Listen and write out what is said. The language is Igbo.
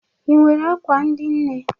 I nwere akwa ndị nne?